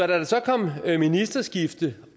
der så kom ministerskifte